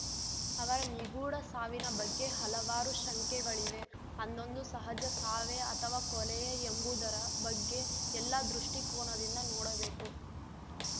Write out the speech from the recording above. ಅವರ ನಿಗೂಢ ಸಾವಿನ ಬಗ್ಗೆ ಹಲವಾರು ಶಂಕೆಗಳಿವೆ ಅಂದೊಂದು ಸಹಜ ಸಾವೇ ಅಥವಾ ಕೊಲೆಯೇ ಎಂಬುದರ ಬಗ್ಗೆ ಎಲ್ಲ ದೃಷ್ಟಿಕೋನದಿಂದ ನೋಡಬೇಕು